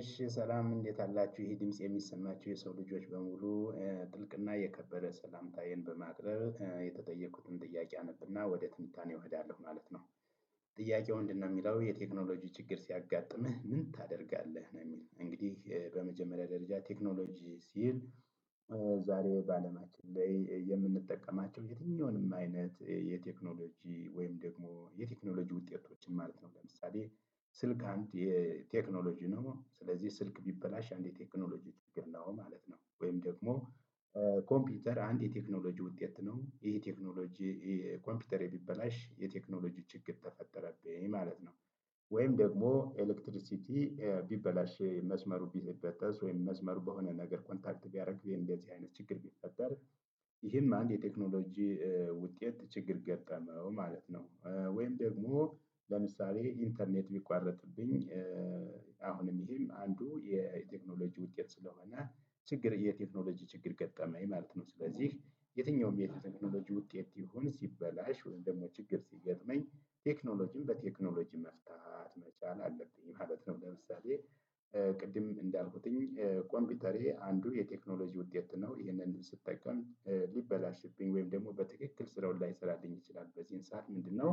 እሺ ሰላም እንዴት አላችሁ ይሄ ድምጽ የሚሰማችሁ የሰው ልጆች በሙሉ ጥልቅና የከበረ ሰላምታዬን በማቅረብ የተጠየኩትን ጥያቄ አነብና ወደ ትንታኔው እሄዳለሁ ማለት ነው። ጥያቄው ምንድነው የሚለው "የቴክኖሎጂ ችግር ሲያጋጥምህ ምን ታደርጋለህ?" ነው የሚል እንግዲህ በመጀመሪያ ደረጃ ቴክኖሎጂ ሲል ዛሬ በአለማችን ላይ የምንጠቀማቸው የትኛውንም አይነት የቴክኖሎጂ ወይም ደግሞ የቴክኖሎጂ ውጤቶችን ማለት ነው። ለምሳሌ ስልክ አንድ የ ቴክኖሎጂ ነው። ስለዚህ ስልክ ቢበላሽ አንድ የቴክኖሎጂ ችግር ነው ማለት ነው። ወይም ደግሞ ኮምፒውተር አንድ የቴክኖሎጂ ውጤት ነው። ይሄ ቴክኖሎጂ ኮምፒውተሬ ቢበላሽ የቴክኖሎጂ ችግር ተፈጠረብኝ ማለት ነው። ወይም ደግሞ ኤሌክትሪክሲቲ ቢበላሽ ይሄ መስመሩ ቢበጠስ ወይም መስመሩ በሆነ ነገር ኮንታክት ቢያደርግ ወይም እንደዚህ አይነት ችግር ቢፈጠር ይሄም አንድ የቴክኖሎጂ ውጤት ችግር ገጠመው ማለት ነው። ወይም ደግሞ ለምሳሌ ኢንተርኔት ቢቋረጥብኝ አሁን ይሄም አንዱ የቴክኖሎጂ ውጤት ስለሆነ ችግር የቴክኖሎጂ ችግር ገጠመኝ ማለት ነው። ስለዚህ የትኛውም የቴክኖሎጂ ውጤት ይሁን ሲበላሽ ወይም ደግሞ ችግር ሲገጥመኝ ቴክኖሎጂን በቴክኖሎጂ መፍታት መቻል አለብኝ ማለት ነው። ለምሳሌ ቅድም እንዳልኩትኝ ኮምፒውተሬ አንዱ የቴክኖሎጂ ውጤት ነው። ይሄንንም ስጠቀም ሊበላሽብኝ ወይም ደግሞ በትክክል ስራውን ላይሰራልኝ ይችላል በዚህም ሰዓት ምንድነው